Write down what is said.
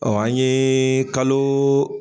an yee kaloo